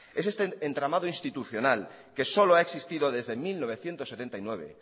es este entramado institucional que solo ha existido desde mil novecientos setenta y nueve